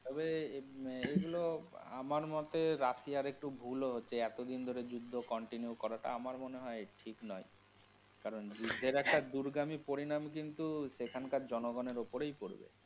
তবে এগুলো আমার মতে রাশিয়ার একটু ভুল ও হচ্ছে । এতদিন ধরে যুদ্ধ continue করাটা আমার মনে হয় ঠিক নয় কারণ যুদ্ধের একটা দূরগামী পরিণাম কিন্তু সেখানকার জনগনের ওপরেই পরবে।